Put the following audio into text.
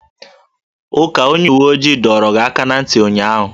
Uka onye uwe ojii dọọrọ gị aka na ntị ụnyaahụ!